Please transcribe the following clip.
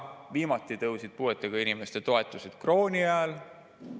Viimati tõusid puuetega inimeste toetused krooni ajal.